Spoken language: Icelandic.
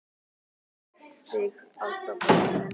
Elska þig alltaf, pabbi minn.